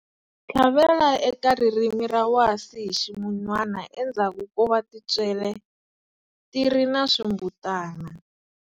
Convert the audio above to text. Tlhavela eka ririmi ra wasi hi ximun'wana endzhaku ko va tintswele ti ri na swimbutana.